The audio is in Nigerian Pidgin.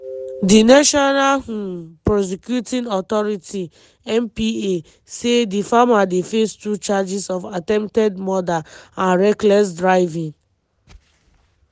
di national um prosecuting authority (npa) say di farmer dey face two charges of attempted murder and reckless driving.